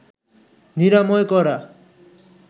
নিরাময় করা